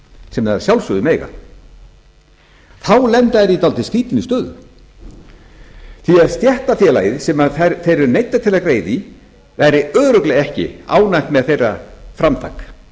sem þær að sjálfsögðu mega þá lenda þær í dálítið skrýtinni stöðu því að stéttarfélagið sem þær eru neyddar til að greiða í væri örugglega ekki ánægt með þeirra framtak